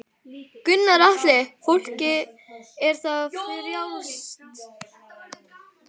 Gunnar Atli: Fólki er það frjálst?